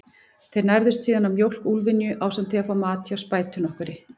Þeir nærðust síðan á mjólk úlfynju, ásamt því að fá mat hjá spætu nokkurri.